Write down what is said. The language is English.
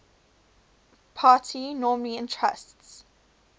party normally entrusts